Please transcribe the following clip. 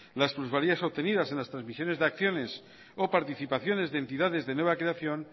las plusvalías obtenidas en las trasmisiones de acciones o participaciones de entidades de nueva creación